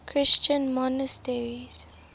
christian monasteries